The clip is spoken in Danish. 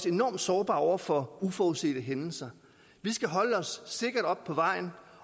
enormt sårbare over for uforudsete hændelser vi skal holde os sikkert oppe på vejen